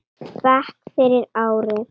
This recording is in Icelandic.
bekk fyrir ári.